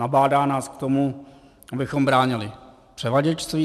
Nabádá nás k tomu, abychom bránili převaděčství.